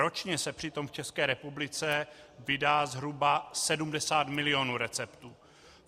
Ročně se přitom v České republice vydá zhruba 70 milionů receptů.